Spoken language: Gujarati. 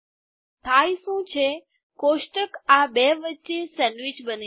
થાય શું છે કોષ્ટક આ બે વચ્ચે સેન્ડવીચ બને છે